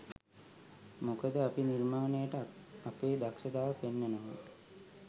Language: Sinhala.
මොකද අපි නිර්මාණයට අපේ දක්ෂතාව පෙන්වනවා